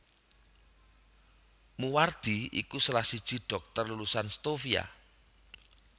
Moewardi iku salah siji dhokter lulusan Stovia